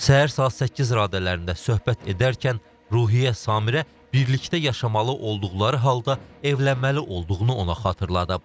Səhər saat 8 radələrində söhbət edərkən Ruhiyyə Samirə birlikdə yaşamalı olduqları halda evlənməli olduğunu ona xatırladıb.